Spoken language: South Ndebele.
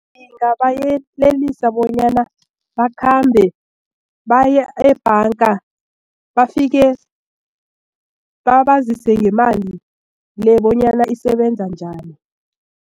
Ngingabayelelisa bonyana bakhambe baye ebhanga bafike babazise ngemali le bonyana isebenza njani.